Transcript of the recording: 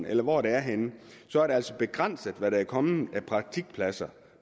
eller hvor det er henne så er det altså begrænset hvad der er kommet af praktikpladser